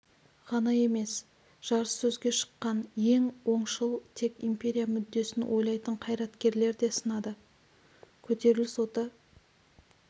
ғана емес жарыссөзге шыққан ең оңшыл тек империя мүддесін ойлайтын қайраткерлер де сынады көтеріліс оты